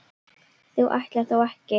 þú ætlar þó ekki.